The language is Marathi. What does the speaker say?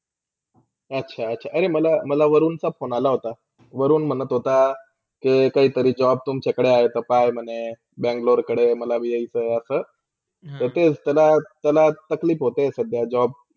अच्छा - अच्छा! अरे! मला - मला वारूनचा phone आला होता भरून मला स्वता के काहितरी job तुमच्याकडे आहे, ते काय आहे म्हणे Bangalore कडे मलापण इयायचा असा. तर तेच त्याला त्याला तकलीफ होते सध्या.